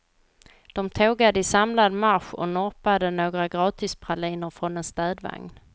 De tågade i samlad marsch och norpade några gratispraliner från en städvagn.